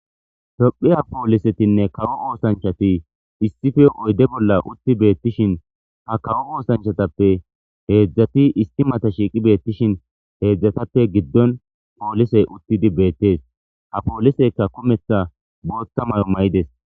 tophiya poolisetinne kawo oosanchati issife oyde bolla utti beettishin ha kawo oosanchatappe heedzdzati issi mata shiiqi beettishin heedzdzatappe giddon poolisey uttidi beettees ha poolisekka kumetha bootta mala mayides